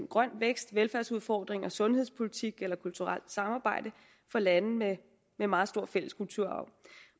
grøn vækst velfærdsudfordringer sundhedspolitik eller kulturelt samarbejde for lande med en meget stor fælles kulturarv